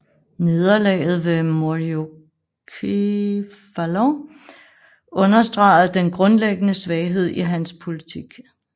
Nederlaget ved Myriokephalon understregede den grundlæggende svaghed i hans politik